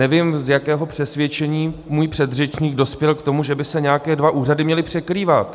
Nevím, z jakého přesvědčení můj předřečník dospěl k tomu, že by se nějaké dva úřady měly překrývat.